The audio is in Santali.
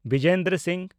ᱵᱤᱡᱮᱱᱫᱚᱨ ᱥᱤᱝ